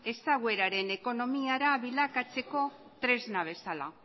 ezagueraren ekonomiara bilakatzeko tresna bezala